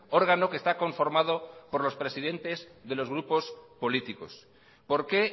órgano que está conformado por los presidentes de los grupos políticos por qué